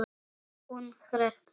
Hún hrekkur við.